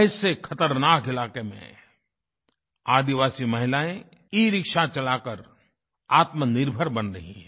ऐसे ख़तरनाक इलाक़े में आदिवासी महिलाएँ एरिक्शा चला कर आत्मनिर्भर बन रही हैं